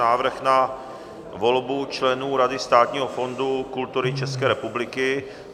Návrh na volbu členů Rady Státního fondu kultury České republiky